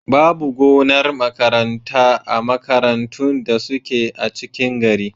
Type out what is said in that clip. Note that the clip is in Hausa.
Babu gonar makaranta a makarantun da suke a cikin gari.